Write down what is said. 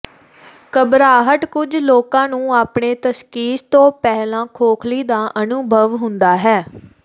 ਘਬਰਾਹਟ ਕੁਝ ਲੋਕਾਂ ਨੂੰ ਆਪਣੇ ਤਸ਼ਖ਼ੀਸ ਤੋਂ ਪਹਿਲਾਂ ਖੋਖਲੀ ਦਾ ਅਨੁਭਵ ਹੁੰਦਾ ਹੈ